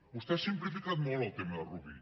vostè ha simplificat molt el tema de rubí